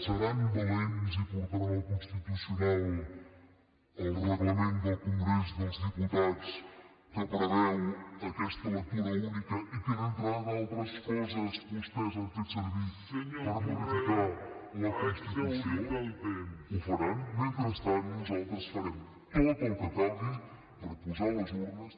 seran valents i portaran al constitucional el reglament del congrés dels diputats que preveu aquesta lectura única i que entre d’altres coses vostès han fet servir per modificar la constitució ho faran mentrestant nosaltres farem tot el que calgui per posar les urnes